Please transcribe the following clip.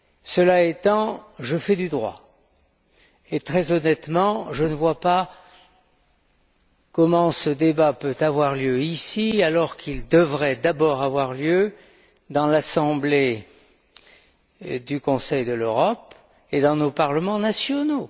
Cela étant, je fais du droit et, très honnêtement, je ne vois pas comment ce débat peut avoir lieu ici, alors qu'il devrait d'abord avoir lieu à l'Assemblée du Conseil de l'Europe et dans nos parlements nationaux.